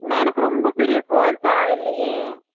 நா என்னக்கு ரொம்ப பெரிய roll தேவ இல்லையே